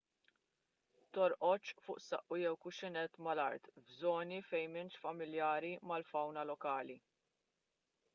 torqodx fuq saqqu jew kuxxinett mal-art f'żoni fejn m'intix familjari mal-fawna lokali